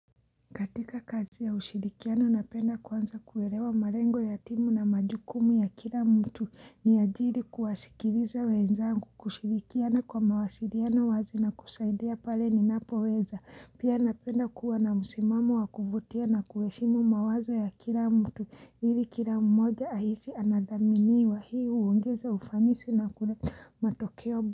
Katika kazi ya ushirikiano napenda kwanza kuwelewa malengo ya timu na majukumu ya kila mtu ni ajiri kuwasikiriza weenzangu kushirikiana kwa mawasiliano wazi na kusaidia pale ni napoweza pia napenda kuwa na msimamo wa kuvutia na kuweshimu mawazo ya kila mtu hili kila mmoja ahisi anathaminiwa hii huongeza ufanisi na kune matokeo.